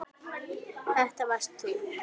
Þetta varst þú.